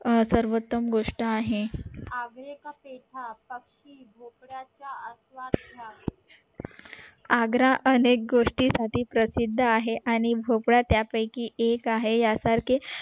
सर्वंतम गोष्ट आहे आग्रा अनेक गोष्टी साठी प्रसिद्द आहे आणि भोपळा त्यानं पयकी एक आहे साखरे